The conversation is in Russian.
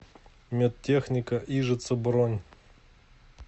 медтехника ижица бронь